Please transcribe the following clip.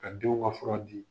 Ka denw ka fura di.